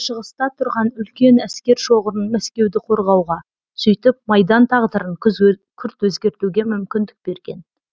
шығыста тұрған үлкен әскер шоғырын мәскеуді қорғауға сөйтіп майдан тағдарын күрт өзгертуге мүмкіндік берген